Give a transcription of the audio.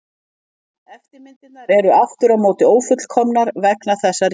Eftirmyndirnar eru aftur á móti ófullkomnar vegna þessa rýmis.